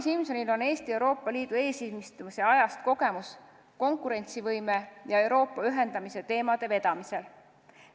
Kadri Simsonil on Eesti Euroopa Liidu eesistumise ajast kogemus konkurentsivõime ja Euroopa ühendamise teemade vedamisel.